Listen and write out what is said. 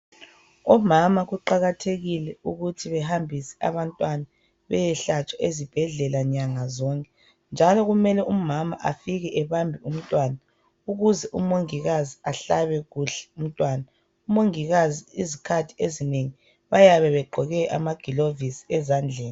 Omama kuqakathekile ukuthi behambise abantwana beyehlatshwa ezibhedlela nyangazonke. Njalo kumele umama afike ebambe umntwana ukuze umongikazi ahlabe kuhle umntwana. Umongikazi izikhathi ezinengi bayabe begqoke amagilovisi ezandleni.